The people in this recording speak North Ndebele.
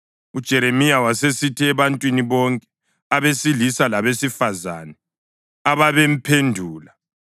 UJeremiya wasesithi ebantwini bonke, abesilisa labesifazane, ababemphendula,